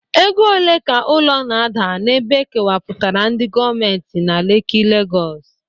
Ego ole ka ụlọ na-ada n'ebe e kewapụtara ndị gọọmentị na Leki, Lagọs?